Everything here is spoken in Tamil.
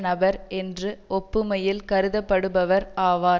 நபர் என்று ஒப்புமையில் கருதப்படுபவர் ஆவார்